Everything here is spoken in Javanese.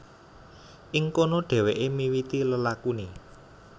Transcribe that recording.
Ing kono dhèwèké miwiti lelakuné